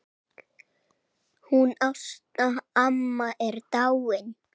Hún Ásta amma er dáin.